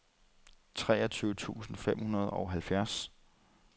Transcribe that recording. treogtyve tusind fem hundrede og halvfems